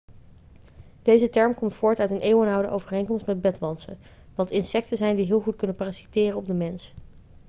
deze term komt voort uit een eeuwenoude overeenkomst met bedwantsen wat insecten zijn die heel goed kunnen parasiteren op de mens